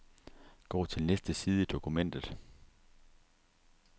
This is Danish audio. Gå til næste side i dokumentet.